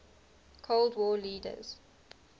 cold war leaders